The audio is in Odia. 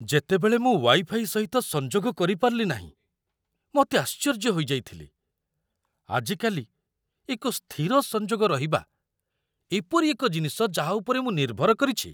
ଯେତେବେଳେ ମୁଁ ୱାଇ ଫାଇ ସହିତ ସଂଯୋଗ କରିପାରିଲି ନାହିଁ, ମୁଁ ଅତି ଆଶ୍ଚର୍ଯ୍ୟ ହୋଇଯାଇଥିଲି। ଆଜିକାଲି, ଏକ ସ୍ଥିର ସଂଯୋଗ ରହିବା ଏପରି ଏକ ଜିନିଷ ଯାହା ଉପରେ ମୁଁ ନିର୍ଭର କରିଛି।